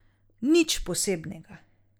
Nič posebnega.